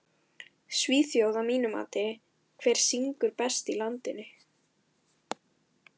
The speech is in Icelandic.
Svíþjóð að mínu mati Hver syngur best í landsliðinu?